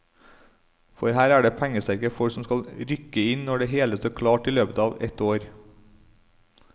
For her er det pengesterke folk som skal rykke inn når det hele står klart i løpet av et år.